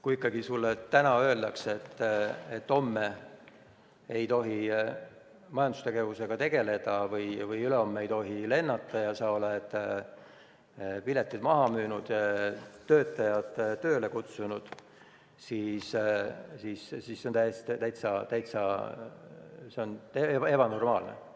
Kui sulle ikkagi täna öeldakse, et homme ei tohi majandustegevusega tegeleda või ülehomme ei tohi lennata, aga sa oled piletid maha müünud ja töötajad tööle kutsunud, siis see on täiesti ebanormaalne.